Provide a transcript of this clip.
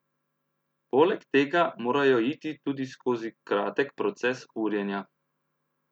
Poleg tega morajo iti tudi skozi kratek proces urjenja.